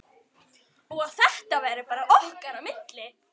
Og að þetta væri bara okkar á milli.